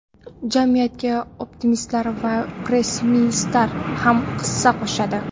Jamiyatga optimistlar ham, pessimistlar ham hissa qo‘shadi.